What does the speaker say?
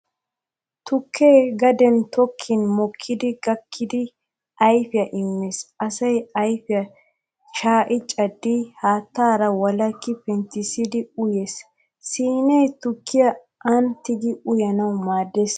Tukke gaden tokkin mokkidi gakkidi ayfiyaa immees asay ayfiyaa shaa'i caddidi haattaara wolakki penttissidi uyees. Siinee tukkiyaa aani tigi uyanawu maaddees.